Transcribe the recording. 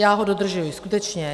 Já ho dodržuji, skutečně.